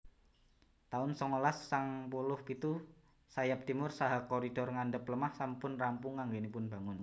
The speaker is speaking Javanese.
taun songolas sangang puluh pitu Sayap Timur saha koridor ngandhap lemah sampun rampung anggenipun bangun